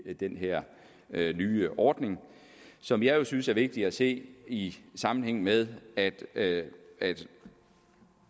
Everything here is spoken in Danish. den her nye ordning som jeg synes er vigtig at se i sammenhæng med at det